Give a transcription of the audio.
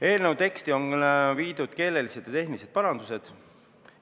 Eelnõu tekstis on tehtud keelelised ja tehnilised parandused.